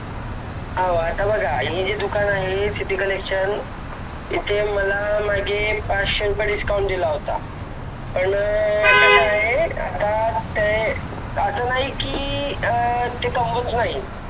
हो आता बघा हे जे दुकान आहे सिटी कलेक्शन इथे मागे मला पाचशे रुपये डिस्काउंट दिला होता पण कसा आहे आता असं नाही की ते कमवत नाही